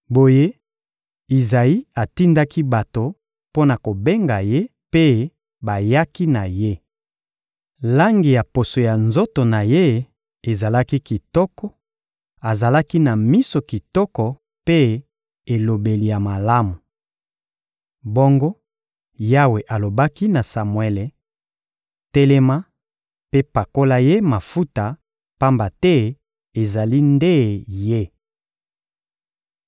Boye, Izayi atindaki bato mpo na kobenga ye, mpe bayaki na ye. Langi ya poso ya nzoto na ye ezalaki kitoko; azalaki na miso kitoko mpe elobeli ya malamu. Bongo Yawe alobaki na Samuele: «Telema mpe pakola ye mafuta, pamba te ezali nde ye.»